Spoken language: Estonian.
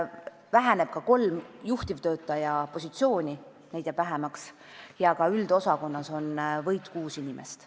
Väheneb kolm juhtivtöötaja positsiooni ja ka üldosakonnas on võit kuus inimest.